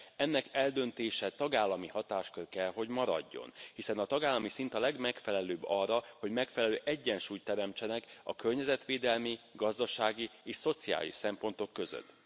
Ennek eldöntése tagállami hatáskör kell hogy maradjon, hiszen a tagállami szint a legmegfelelőbb arra, hogy megfelelő egyensúlyt teremtsenek a környezetvédelmi, gazdasági és szociális szempontok között!